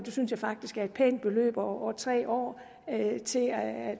synes jeg faktisk et pænt beløb over tre år til at